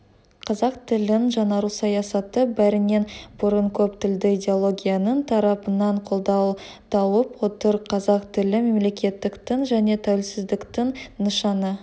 қазақ тілінің жаңару саясаты бәрінен бұрын көп тілді идеологияның тарапынан қолдау тауып отыр қазақ тілі мемлекеттіктің және тәуелсіздіктің нышаны